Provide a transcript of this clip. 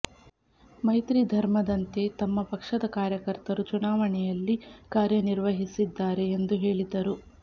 ಮೈತ್ರಿ ಧರ್ಮದಂತೆ ತಮ್ಮ ಪಕ್ಷದ ಕಾರ್ಯಕರ್ತರು ಚುನಾವಣೆಯಲ್ಲಿ ಕಾರ್ಯ ನಿರ್ವಹಿಸಿದ್ದಾರೆ ಎಂದು ಹೇಳಿದರು